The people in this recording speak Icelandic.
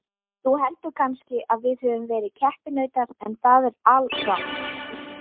Þú heldur kannski að við höfum verið keppinautar en það er alrangt.